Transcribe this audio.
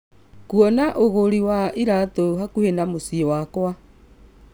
kũona ugũri wa iraatũ hakuhĩ na mũciĩ wakwa